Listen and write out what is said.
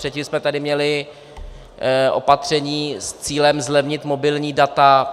Předtím jsme tady měli opatření s cílem zlevnit mobilní data.